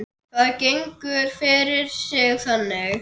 Það gengur fyrir sig þannig